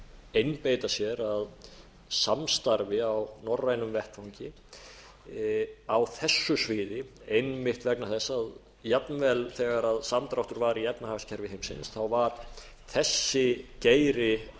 einbeita sér að samstarfi á norrænum vettvangi á þessu sviði einmitt vegna þess að jafnvel þegar samdráttur var í efnahagskerfi heimsins var þessi geiri